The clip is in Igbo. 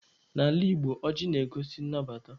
N'ala Igbo, ọjị na-egosi nnabata.